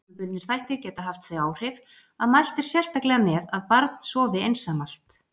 Persónubundnir þættir geta haft þau áhrif að mælt er sérstaklega með að barn sofi einsamalt.